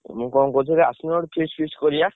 ମୁଁ କହୁଥିଲି ଆସୁନ ଗୋଟେ feast କରିଆ।